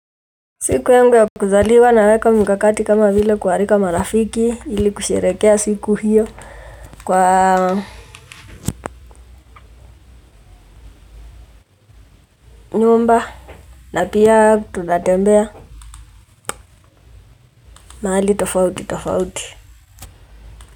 Siku yangu ya kuzaliwa naweka mikakati kama vile kualika marafiki ili kusherehekea siku hiyo kwa nyumba na pia tunatembea mahali tofauti tofauti.